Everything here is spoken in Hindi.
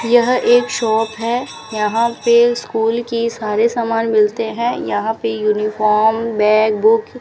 यह एक शॉप है यहां पे स्कूल की सारे सामान मिलते हैं यहां पे यूनिफॉर्म बैग बुक --